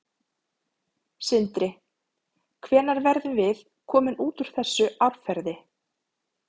Sindri: Hvenær verðum við komin út úr þessu árferði?